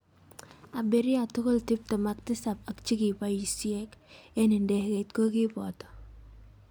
Abirria tugul tipten ak tisap ak chikibaisek ik ndegeit kokibato.